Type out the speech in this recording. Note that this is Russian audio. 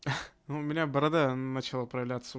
ну у меня борода начала проявляться